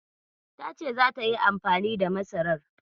Tace zata yi amfani da masarar.